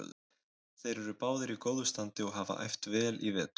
Þeir eru báðir í góðu standi og hafa æft vel í vetur.